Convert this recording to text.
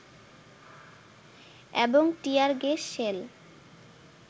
এবং tear gas shell